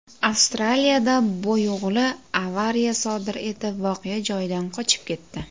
Avstraliyada boyo‘g‘li avariya sodir etib, voqea joyidan qochib ketdi.